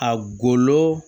A golo